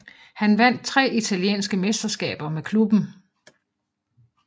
Han vandt tre italienske mesterskaber med klubben